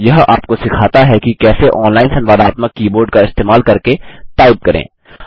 यह आपको सिखाता है कि कैसे ऑनलाइन संवादात्मक कीबोर्ड का इस्तेमाल करके टाइप करें